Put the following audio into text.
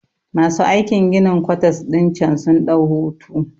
Masu aikin ginin kwatas ɗin cen sun ɗau hutu